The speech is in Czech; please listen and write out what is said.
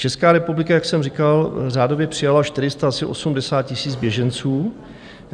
Česká republika, jak jsem říkal, řádově přijala 480 000 běženců.